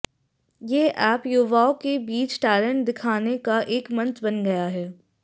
ये ऐप युवाओं के बीच टैलेंट दिखाने का एक मंच बन गया है